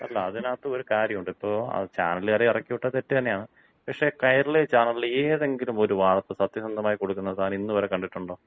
അല്ല അതിനകത്ത് ഒരു കാര്യമുണ്ട്. ഇപ്പോ ചാനലുകാരെ ഇറക്കിവിട്ടത് തെറ്റുതന്നെയാണ്. പക്ഷേ കൈരളി ചാനൽ ഏതെങ്കിലും ഒരു വാർത്ത സത്യസന്ധമായി കൊടുക്കുന്നത് താൻ ഇന്നുവരെ കണ്ടിട്ടുണ്ടോ?